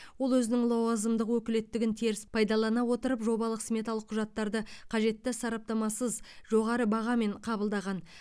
ол өзінің лауазымдық өкілеттігін теріс пайдалана отырып жобалық сметалық құжаттарды қажетті сараптамасыз жоғары бағамен қабылдаған